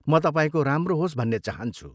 म तपाईँको राम्रो होस् भन्ने चाहान्छु।